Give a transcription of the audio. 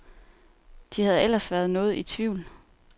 De havde ellers været noget i tvivl.